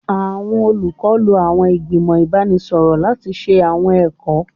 Awọn olukọ lo awọn igbimọ ibanisọrọ lati ṣe awọn ẹkọ